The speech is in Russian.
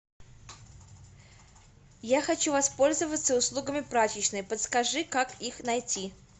я хочу воспользоваться услугами прачечной подскажи как их найти